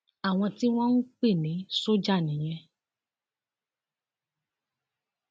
àwọn tí wọn ń pè ní sójà nìyẹn